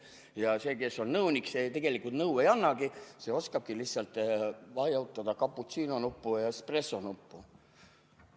Ja see, kes on nõunik, see tegelikult nõu ei annagi, see oskab lihtsalt vajutada cappuccino-nuppu ja espressonuppu.